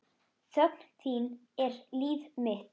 Þögn þín er líf mitt.